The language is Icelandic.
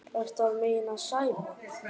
Ertu að meina Sæma?